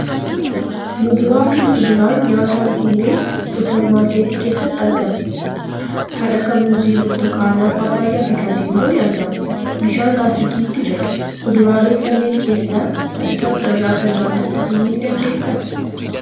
Muduraa fi kuduraan nyaataan kunneen suuper maarketii keessatti argamu. Kan akka muuzii, burtukaanaa, paappaayyaa fi kanneen biroo ni argamu. Bishaan laastikiitti jira. Kuduraalee kanneen keessaa ati kam irra akka jaalattu himuu ni dandeessaa?